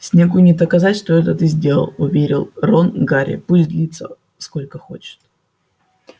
снеггу не доказать что это ты сделал уверил рон гарри пусть длится сколько хочет